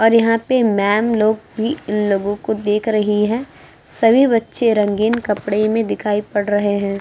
और यहाँ पे मैंम लोग भी इन लोगों को देख रही हैं। सभी बच्चे रंगीन कपड़ें में दिखाई पड़ रहे हैं।